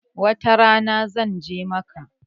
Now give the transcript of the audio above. Wata rana zan je Makkah